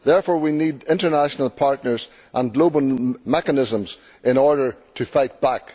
Therefore, we need international partners and global mechanisms in order to fight back.